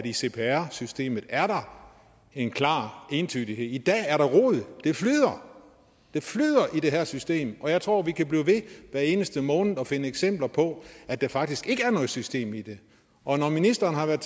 i cpr systemet er en klar entydighed i dag er der rod det flyder det flyder i det her system og jeg tror vi kan blive ved hver eneste måned at finde eksempler på at der faktisk ikke er noget system i det og når ministeren har været